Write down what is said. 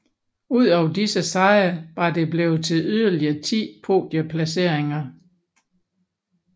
Ud over disse sejre var det blevet til yderligere ti podieplaceringer